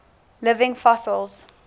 living fossils